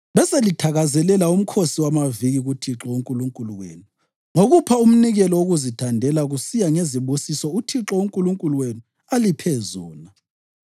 Beselithakazelela uMkhosi wamaViki kuThixo uNkulunkulu wenu ngokupha umnikelo wokuzithandela kusiya ngezibusiso uThixo uNkulunkulu wenu aliphe zona.